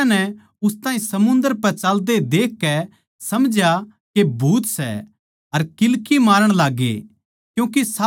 पर चेल्यां नै उस ताहीं समुन्दर पै चाल्दे देखकै समझया के भूत सै अर किल्की मारण लाग्गे